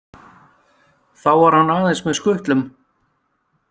Þá var hann aðeins með skutlum.